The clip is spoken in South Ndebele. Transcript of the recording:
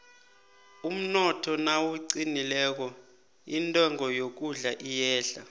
umnotho nawuqinileko intengo yokudla iyehla